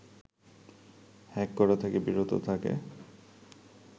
hack করা থেকে বিরত থাকে